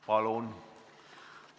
Palun!